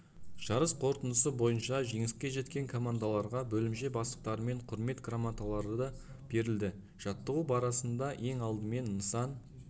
жарыс қорытындысы бойынша жеңіске жеткен командаларға бөлімше бастықтарымен құрмет грамоталары берілді жаттығу барасында ең алдымен нысан